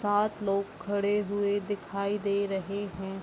सात लोग खड़े हुए दिखाई दे रहे हैं।